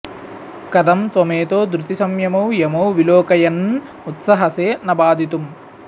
कथं त्वमेतौ धृतिसंयमौ यमौ विलोकयन्न् उत्सहसे न बाधितुम्